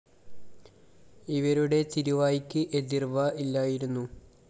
ഇവരുടെ തിരുവായ്ക്ക് എതിര്‍വാ ഇല്ലായിരുന്നു